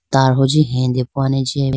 tar hunji hedepowa ne jiya athuji.